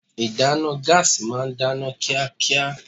Ìdáná gáàsì ma ń dáná kíákíá.